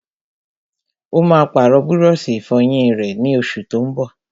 Ó máa pàrọ̀ búrọ́sì-ìfọyín rẹ̀, ní oṣù tó n bọ̀.